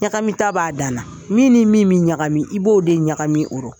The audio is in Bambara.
Ɲagami ta b'a danna .Min ni min bi ɲagami i b'o de ɲagami o rɔ.